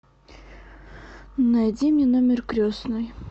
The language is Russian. найди мне номер крестной